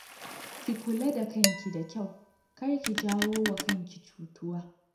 Ki kula da kanki da kyau, kar ki jawo wa kanki cutuwa